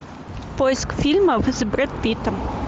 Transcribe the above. поиск фильмов с брэд питтом